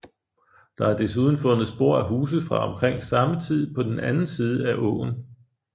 Der er desuden fundet spor af huse fra omkring samme tid på den anden side af åen